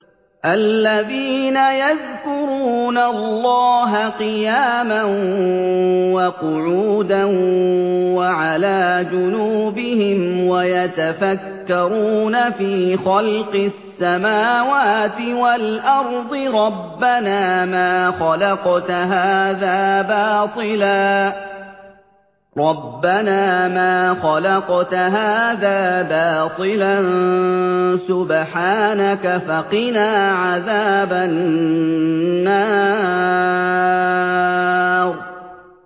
الَّذِينَ يَذْكُرُونَ اللَّهَ قِيَامًا وَقُعُودًا وَعَلَىٰ جُنُوبِهِمْ وَيَتَفَكَّرُونَ فِي خَلْقِ السَّمَاوَاتِ وَالْأَرْضِ رَبَّنَا مَا خَلَقْتَ هَٰذَا بَاطِلًا سُبْحَانَكَ فَقِنَا عَذَابَ النَّارِ